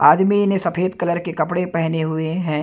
आदमी ने सफेद कलर के कपड़े पेहने हुए हैं।